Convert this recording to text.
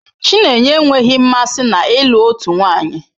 Chinenye enweghị mmasị na ịlụ otu nwanyị.